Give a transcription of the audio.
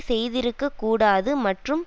செய்திருக்கக் கூடாது மற்றும்